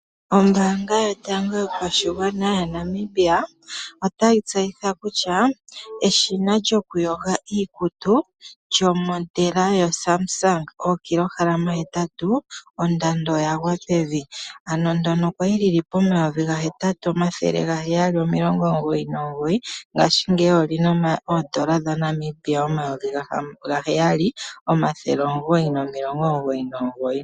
Ombaanga yotango yo pashigwana moNamibia otayi tseyitha kutya eshina lyo kuyoga iikutu lyoludhi lwoSamsung ookilogram 8, ondando oya gwa pevi. Okwali lyi oondola dhaNamibia omayovi 8 799 nongashingeyi olyina omayovi 7 999.